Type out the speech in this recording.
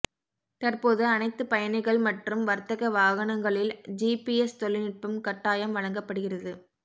தற்போது அனைத்து பயணிகள் மற்றும் வர்த்தக வாகனங்களில் ஜிபிஎஸ் தொழில்நுட்பம் கட்டாயம் வழங்கப்படுகிறது